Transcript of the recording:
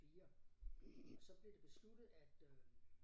4 og så blev det besluttet at øh